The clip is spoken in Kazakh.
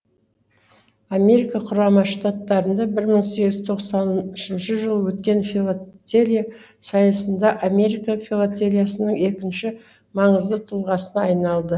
америка құрама штаттарында бір мың сегіз жүз тоқсанышыншы жылы өткен филотелия сайысында америка филотелиясының екінші маңызды тұлғасына айналды